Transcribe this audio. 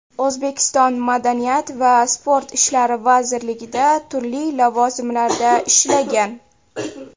O‘zbekiston Madaniyat va sport ishlari vazirligida turli lavozimlarda ishlagan.